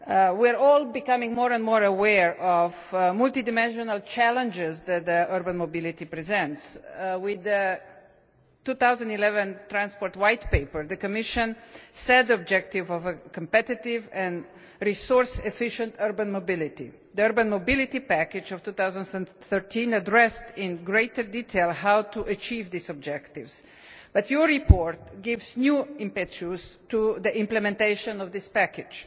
We are all becoming more and more aware of the multidimensional challenges that urban mobility presents. With the 2011 Transport White Paper, the Commission set the objective of a competitive and resource efficient urban mobility. The urban mobility package of 2013 addressed in greater detail how to achieve these objectives, but this report gives new impetus to the implementation of that package.